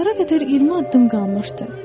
Divara qədər 20 addım qalmışdı.